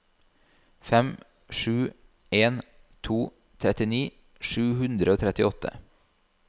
fem sju en to trettini sju hundre og trettiåtte